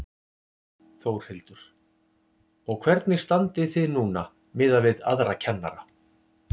Þórhildur: Og hvernig standið þið núna miðað við aðra kennara?